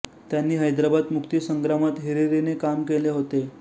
त्यांनी हैद्राबाद मुक्ती संग्रामात हिरीरीने काम केले होते